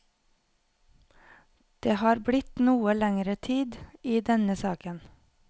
Det har blitt noe lenger tid i denne saken.